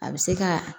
A bɛ se ka